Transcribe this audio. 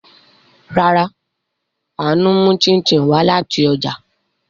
Rárá, Aanu mu chin chin wa lati oja